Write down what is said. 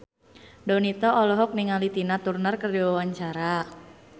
Donita olohok ningali Tina Turner keur diwawancara